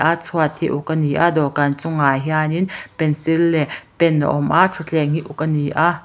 a chhuat hi uk ani a dawhkan chungah hianin pencil leh pen a awm a thutthleng hi uk ani a.